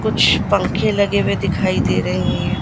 कुछ पंखे लगे हुए दिखाई दे रहे हैं।